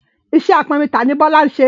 Iṣẹ́ apọnmi tà ni Bọ́lá ń ṣẹ.